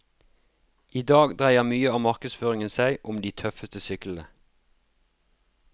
I dag dreier mye av markedsføringen seg om de tøffeste syklene.